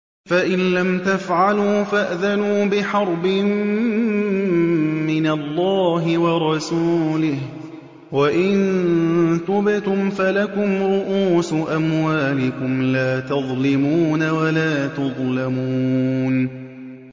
فَإِن لَّمْ تَفْعَلُوا فَأْذَنُوا بِحَرْبٍ مِّنَ اللَّهِ وَرَسُولِهِ ۖ وَإِن تُبْتُمْ فَلَكُمْ رُءُوسُ أَمْوَالِكُمْ لَا تَظْلِمُونَ وَلَا تُظْلَمُونَ